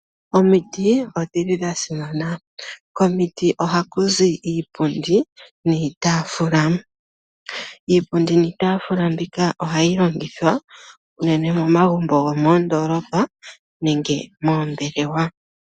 Omiti odhili dha simana, komiti ohaku zi iipundi niitaafula, iipundi niitaafula mbika ohayi longithwa unene momagumbo gwo moondoolopa nenge moombelewa.